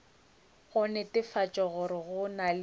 go netefatša gore go na